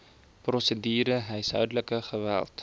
prosedure huishoudelike geweld